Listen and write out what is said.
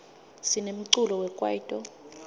sinemculo wekwaito